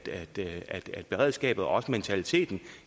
beredskabet og også mentaliteten